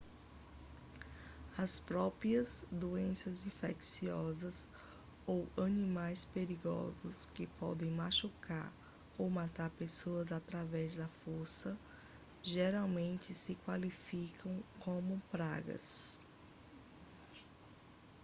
as próprias doenças infecciosas ou animais perigosos que podem machucar ou matar pessoas através da força geralmente não se qualificam como pragas